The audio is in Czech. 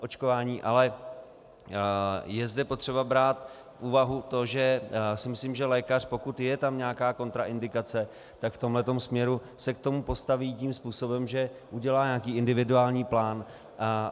Ale je zde potřeba brát v úvahu to, že si myslím, že lékař, pokud je tam nějaká kontraindikace, tak v tomhle směru se k tomu postaví tím způsobem, že udělá nějaký individuální plán.